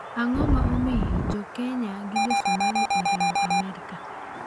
Ang'o ma omiyo jo kenya gi josomali oriemb amerka?